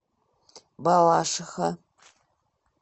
балашиха